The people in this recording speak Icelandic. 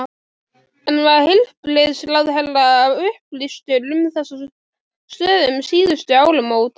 En var heilbrigðisráðherra upplýstur um þessa stöðu um síðustu áramót?